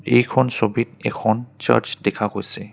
এইখন ছবিত এখন চাৰ্চ দেখা গৈছে।